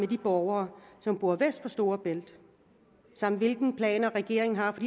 de borgere som bor vest for storebælt samt hvilke planer regeringen har for